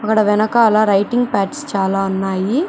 అక్కడ వెనకాల writing pads చాలా ఉన్నాయి.